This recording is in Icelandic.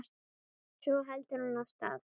Svo heldur hann af stað.